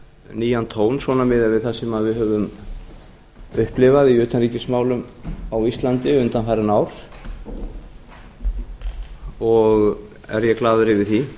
nýjan tón miðað við það sem við höfum upplifað í utanríkismálum á íslandi undanfarin ár og er ég glaður yfir því